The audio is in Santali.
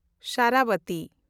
ᱥᱟᱨᱟᱵᱷᱟᱛᱤ